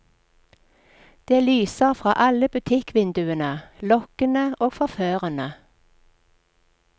Det lyser fra alle butikkvinduene, lokkende og forførende.